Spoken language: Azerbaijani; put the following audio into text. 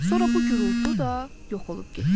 Sonra bu gurultu da yox olub getdi.